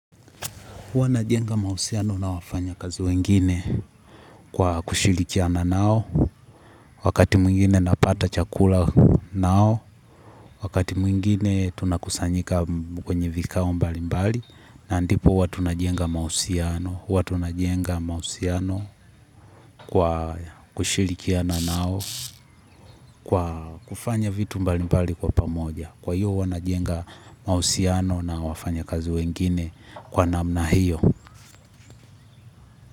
Huwa najenga mahusiano na wafanyakazi wengine kwa kushirikiana nao, wakati mwingine napata chakula nao, wakati mwingine tunakusanyika kwenye vikao mbali mbali, na ndipo huwa tunajenga mahusiano kwa kushirikiana nao, kwa kufanya vitu mbalimbali kwa pamoja. Kwa hiyo huwa najenga mahusiano na wafanyakazi wengine kwa namna hiyo.